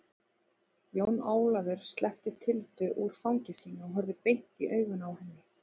Jón Ólafur sleppti Tildu úr fangi sínu og horfði beint i augun á henni.